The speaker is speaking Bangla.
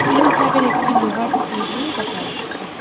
তিন থাকের একটি লোহার টেবিল দেখা যাচ্ছে।